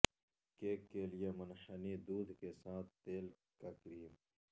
cake کے لئے منحنی دودھ کے ساتھ تیل کا کریم